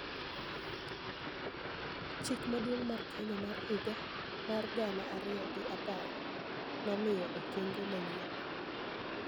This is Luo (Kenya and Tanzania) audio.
Chik Maduong' mar Kenya mar higa mar gana ariyo gi apar nomiyo okenge manyien